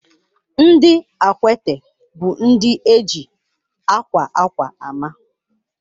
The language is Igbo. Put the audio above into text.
Ndị Akwete bụ ndị eji akwa akwa ama.